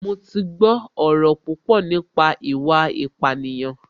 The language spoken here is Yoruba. Mo ti gbọ́ ọ̀rọ̀ púpọ̀ nípa ìwà ìpánìyàn